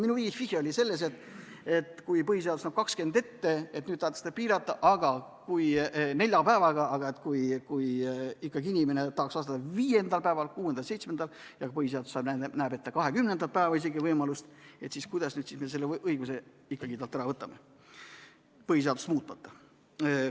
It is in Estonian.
Minu vihje oli sellele, et põhiseadus näeb 20 ette ja nüüd tahetakse seda piirata nelja päevaga, aga kui inimene tahaks vastata viiendal, kuuendal või seitsmendal päeval ja põhiseadus näeb ette isegi 20. päeval seda võimalust, siis kuidas me selle õiguse ikkagi ära võtame põhiseadust muutmata.